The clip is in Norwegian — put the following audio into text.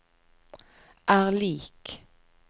er lik